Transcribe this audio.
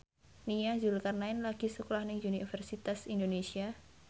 Nia Zulkarnaen lagi sekolah nang Universitas Indonesia